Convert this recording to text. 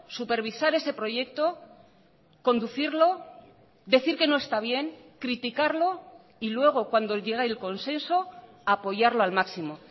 supervisar ese proyecto conducirlo decir que no está bien criticarlo y luego cuando llega el consenso apoyarlo al máximo